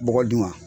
Bɔgɔ dun wa